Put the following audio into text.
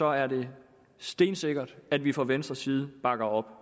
er det stensikkert at vi fra venstres side bakker op